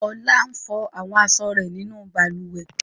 Olá ń fọ àwọn aṣọ rẹ̀ nínú balùwẹ̀.